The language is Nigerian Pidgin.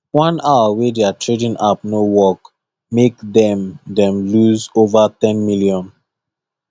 one hour wey their trading app no work make them them lose over ten million